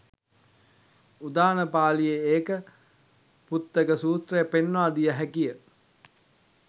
උදාන පාලියේ ඒක පුත්තක සූත්‍රය පෙන්වා දිය හැකි ය.